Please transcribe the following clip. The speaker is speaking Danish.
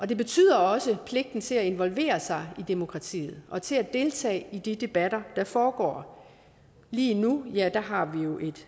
det betyder også en pligt til at involvere sig i demokratiet og til at deltage i de debatter der foregår lige nu er der